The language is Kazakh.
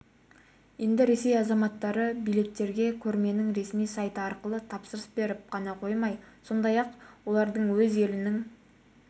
енді ресей азаматтары билеттерге көрменің ресми сайты арқылы тапсырыс беріп қана қоймай сондай-ақ оларды өз елінің